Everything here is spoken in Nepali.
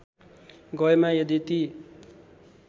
गएमा यदि ती